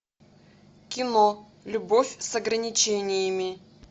кино любовь с ограничениями